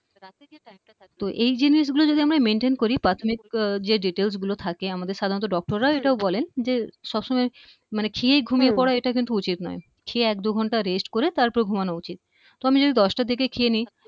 আহ তো এই জিনিসগুলো যদি আমরা maintain করি প্রাথমিক হম যে details গুলো থাকে আমাদের সাধারনত doctor রা এটাও বলেন যে সবসময় মনে খেয়ে ঘুমিয়ে পড়া এটা কিন্তু উচিত নয়। খেয়ে এক দুঘন্ট rest করে তারপর ঘুমানো উচিত। তো আমি যদি দশটার দিকে খেয়ে নেই